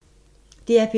DR P2